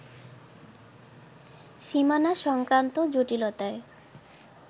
সীমানা সংক্রান্ত জটিলতায়